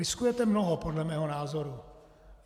Riskujete mnoho podle mého názoru.